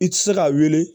I tɛ se ka wele